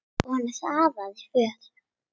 Og hann hraðaði för.